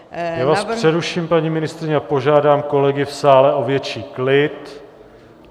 Já vás přeruším, paní ministryně, a požádám kolegy v sále o větší klid.